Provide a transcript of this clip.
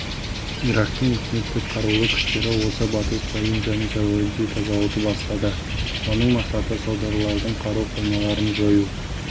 ирактың үкімттік қарулы күштері осы батыс провинцияны сәуірде тазалауды бастады оның мақсаты содырлардың қару қоймаларын жою